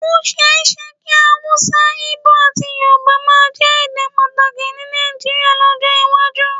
Ó ṣeé ṣe kí Hausa, Igbo àti Yorùbá máa jẹ́ èdè pàtàkì ní Nàìjíríà lọ́jọ́ iwájú